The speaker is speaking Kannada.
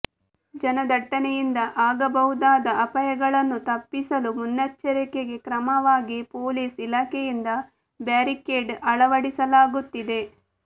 ಜನದಟ್ಟಣೆಯಿಂದ ಆಗಬಹುದಾದ ಅಪಾಯಗಳನ್ನು ತಪ್ಪಿಸಲು ಮುನ್ನೆಚ್ಚರಿಕೆ ಕ್ರಮವಾಗಿ ಪೊಲೀಸ್ ಇಲಾಖೆಯಿಂದ ಬ್ಯಾರಿಕೇಡ್ ಅಳವಡಿಸಲಾಗುತ್ತಿದೆ